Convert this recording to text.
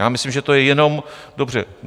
Já myslím, že to je jenom dobře.